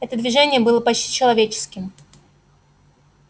это движение было почти человеческим